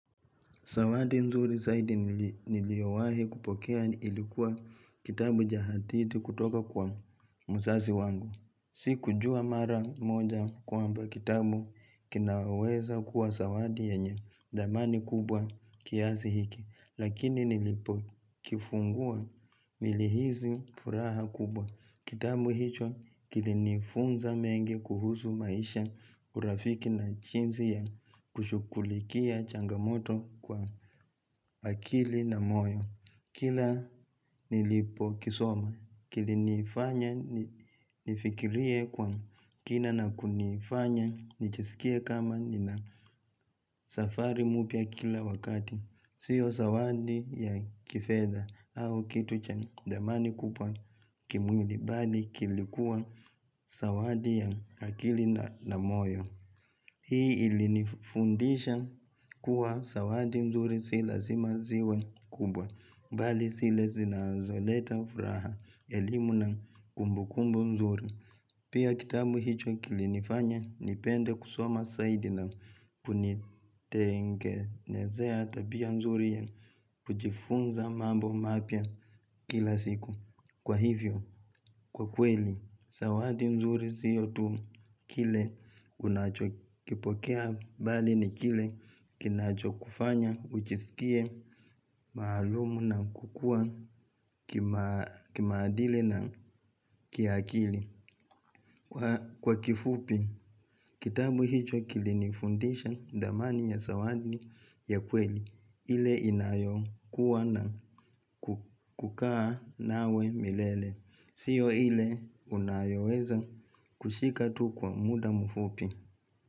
Sawati nzuri zaidi niliowahi kupokea ilikuwa kitabu jahatiti kutoka kwa msazi wangu. Si kujua mara moja kwamba kitabu kinaweza kuwa sawati yanye damani kubwa kiasi hiki. Lakini nilipo kifungua nilihizi furaha kubwa. Kitabu hicho kilinifunza mengi kuhuzu maisha urafiki na chinzi ya kushukulikia changamoto kwa akili na moyo Kila nilipo kisoma kilinifanya nifikirie kwa kina na kunifanya nijsikie kama nina safari mupya kila wakati Sio zawadi ya kifedha au kitu chenye dhamani kupwa kimwili bali kilikuwa sawadi ya akili na moyo. Hii ili nifundisha kuwa sawadi mzuri si lazima ziwe kubwa bali sile zinazoleta furaha elimu na kumbu kumbu mzuri. Pia kitabu hicho kilinifanya nipende kusoma saidi na kunitengenezea tabia nzuri ya kujifunza mambo mapya kila siku. Kwa hivyo, kwa kweli, sawadi nzuri siyo tu kile unacho kipokea bali ni kile kinacho kufanya ujisikie maalumu na kukua kimaadili na kiakili. Kwa kifupi, kitabu hicho kilinifundisha dhamani ya sawadi ya kweli ile inayo kuwa na kukaa nawe milele Sio ile unayoweza kushika tu kwa muda mfupi.